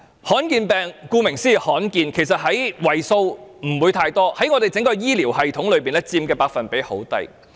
罕見疾病，顧名思義是罕見的，為數不會太多，在我們整個醫療系統中佔的百分比很低。